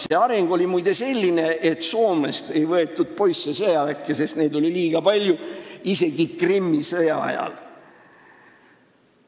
See areng oli muide selline, et Soomest ei võetud poisse sõjaväkke, sest neid oli liiga palju – isegi Krimmi sõja ajal.